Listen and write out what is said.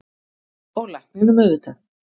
Og lækninum auðvitað.